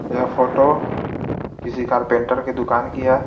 यह फोटो किसी कारपेंटर की दुकान की है.